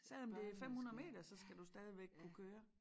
Selvom det 500 meter så skal du stadigvæk kunne køre